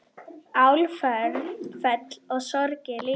Áföll og sorgir líka.